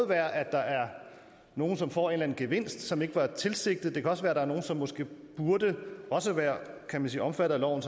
der er nogen som får en eller anden gevinst som ikke var tilsigtet og det kan også være der er nogen som måske burde være kan man sige omfattet af loven